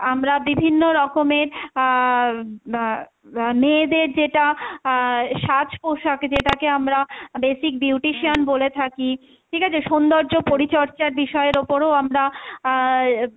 আমরা বিভিন্ন রকমের আহ উম বা বা মেয়েদের যেটা আহ সাজপোশাক যেটাকে আমরা basic beautician বলে থাকি, ঠিক আছে? সৌন্দর্য পরিচর্যা বিষয়ের ওপরও আমরা অ্যাঁ,